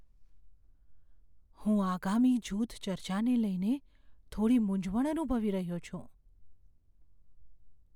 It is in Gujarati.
હું આગામી જૂથ ચર્ચાને લઈને થોડી મૂંઝવણ અનુભવી રહ્યો છું.